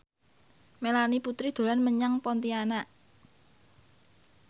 Melanie Putri dolan menyang Pontianak